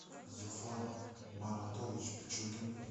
зуфар маратович пичугин